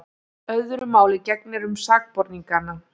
Öðru máli gegnir um sakborningana.